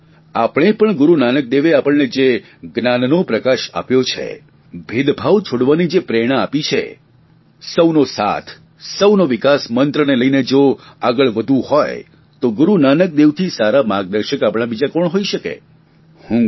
આવો આપણે પણ ગૂરૂ નાનક દેવે આપણને જે જ્ઞાનનો પ્રકાશ આપ્યો છે ભેદભાવ છોડવાની જે પ્રેરણા આપે છે સૌનો સાથ સૌનો વિકાસ મંત્રને લઇને જો આગળ વધવું હોય તો ગુરૂનાનક દેવ સારા આપણા માર્ગદર્શક બીજું કોણ હોઇ શકે છે